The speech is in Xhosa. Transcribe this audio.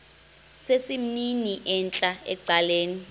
sesimnini entla ecaleni